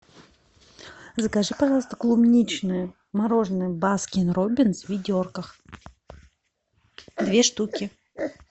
закажи пожалуйста клубничное мороженое баскин роббинс в ведерках две штуки